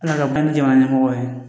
Ala ka bange jamana ɲɛmɔgɔ ye